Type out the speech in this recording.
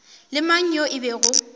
le mang yo e bego